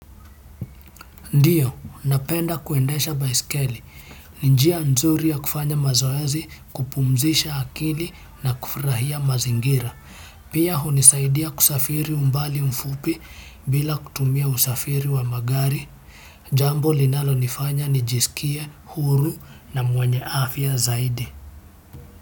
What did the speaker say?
Ndiyo, napenda kuendesha baisikeli, ni njia nzuri ya kufanya mazoezi kupumzisha akili na kufurahia mazingira. Pia hunisaidia kusafiri umbali mfupi bila kutumia usafiri wa magari, jambo linalonifanya nijisikie huru na mwenye afya zaidi.